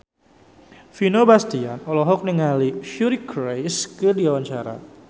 Vino Bastian olohok ningali Suri Cruise keur diwawancara